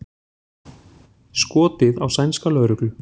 Skotið á sænska lögreglu